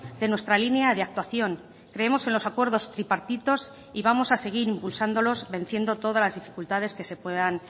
de nuestra línea de actuación creemos en los acuerdos tripartitos y vamos a seguir impulsándolos venciendo todas las dificultades que se puedan